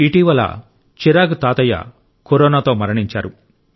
ఇటీవల చిరాగ్ తాతయ్య కరోనాతో మరణించారు